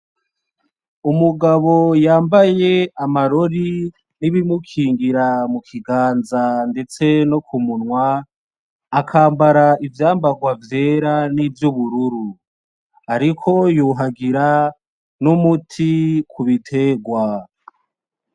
Umugabo yambaye amarori n'ibimukigingara mukiganza ndetse no kumunwa akambara, ivyambarwa vyera n'ivyubururu. Ariko yuhagira n'umuti kubiterwa.